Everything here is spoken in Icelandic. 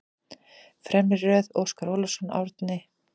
Fremri röð: Óskar Ólafsson, Árni